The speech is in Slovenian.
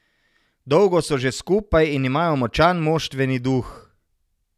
Dolgo so že skupaj in imajo močan moštveni duh.